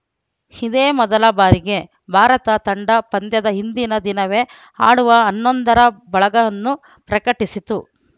ಇದೇ ಮೊದಲ ಬಾರಿಗೆ ಭಾರತ ತಂಡ ಪಂದ್ಯದ ಹಿಂದಿನ ದಿನವೇ ಆಡುವ ಹನ್ನೊಂದರ ಬಳಗನ್ನು ಪ್ರಕಟಿಸಿತು